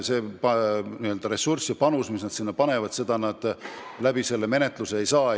See n-ö ressurss ja panus, mille nad sinna panevad, ei vasta menetluse tulemusele.